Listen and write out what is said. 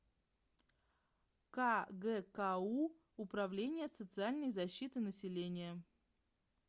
кгку управление социальной защиты населения